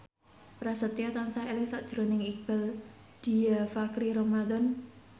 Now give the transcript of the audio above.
Prasetyo tansah eling sakjroning Iqbaal Dhiafakhri Ramadhan